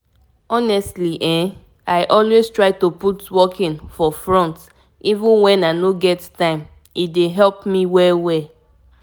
to tell you the truth learning more about walking like e don make me change the way i dey do things everyday.